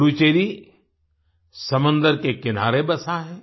पुडुचेरी समंदर के किनारे बसा है